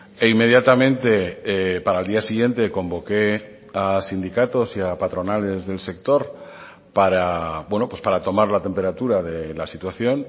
e inmediatamente para el día siguiente convoqué a sindicatos y a patronales del sector para tomar la temperatura de la situación